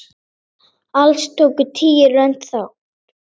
Alls tóku tíu lönd þátt.